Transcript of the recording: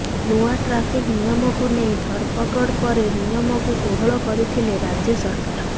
ନୂଆ ଟ୍ରାଫିକ ନିୟକୁ ନେଇ ଧରପଗଡ଼ ପରେ ନିୟମକୁ କୋହଳ କରିଥିଲେ ରାଜ୍ୟ ସରକାର